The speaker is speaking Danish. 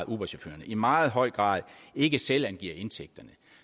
uberchaufførerne i meget høj grad ikke selvangiver indtægterne